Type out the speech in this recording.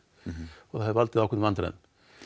það hefur valdið ákveðnum vandræðum